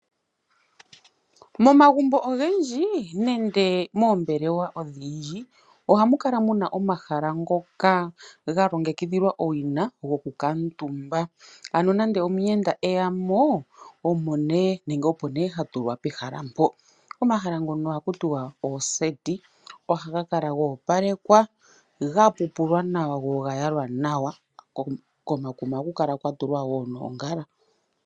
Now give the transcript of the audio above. Momagumbo ogendji nenge moombelewa odhindji ohamu kala muna omahala ngoka ga longekidhilwa owina goku kuutumba. Ano nande omuyenda eyamo opo ne hatulwa pehala mpo. Omahala ngono ohaku tiwa ooseti, ohaga kala goopalekwa gapupulwa nawa go ogayalwa nawa komakuma ohaku kala kwatulwa wo noongala.